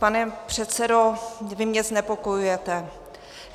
Pane předsedo, vy mě znepokojujete.